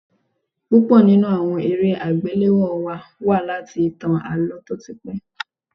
Púpọ̀ nínú àwọn eré àgbéléwò wa wá láti ìtàn Àlọ́ tó ti pé.